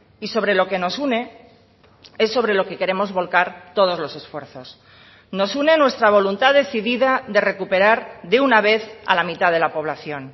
y sobre lo que nos une es sobre lo que queremos volcar todos los esfuerzos nos une nuestra voluntad decidida de recuperar de una vez a la mitad de la población